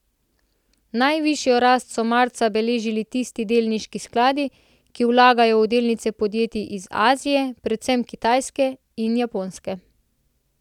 Najvišjo rast so marca beležili tisti delniški skladi, ki vlagajo v delnice podjetij iz Azije, predvsem Kitajske in Japonske.